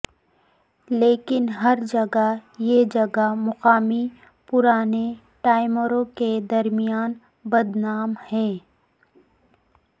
لیکن ہر جگہ یہ جگہ مقامی پرانے ٹائمروں کے درمیان بدنام ہیں